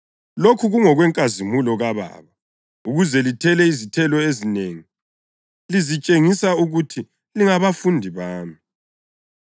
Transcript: Lokhu kungokwenkazimulo kaBaba ukuze lithele izithelo ezinengi, lizitshengisa ukuthi lingabafundi bami.